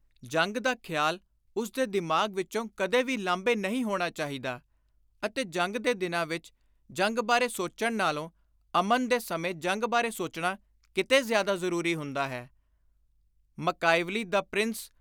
ਜੰਗ ਦਾ ਖ਼ਿਆਲ ਉਸ ਦੇ ਦਿਮਾਗ ਵਿਚੋਂ ਕਦੇ ਵੀ ਲਾਂਭੇ ਨਹੀਂ ਹੋਣਾ ਚਾਹੀਦਾ ਅਤੇ ਜੰਗ ਦੇ ਦਿਨਾਂ ਵਿਚ ਜੰਗ ਬਾਰੇ ਸੋਚਣ ਨਾਲੋਂ ਅਮਨ ਦੇ ਸਮੇਂ ਜੰਗ ਬਾਰੇ ਸੋਚਣਾ ਕਿਤੇ ਜ਼ਿਆਦਾ ਜ਼ਰੂਰੀ ਹੁੰਦਾ ਹੈ।” (Machiavelli- 'The Prince'